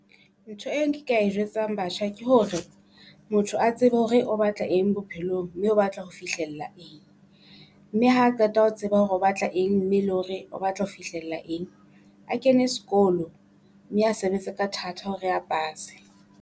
Ntho eng ke ka e jwetsang batjha ke hore motho a tsebe hore o batla eng bophelong, mme o batla ho fihlella eng. Mme ha qeta ho tseba hore o batla eng mme le hore o batla ho fihlella eng. A kene sekolo mme a sebetse ka thata hore a pase.